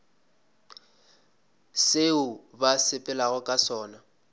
seo ba sepelago ka sona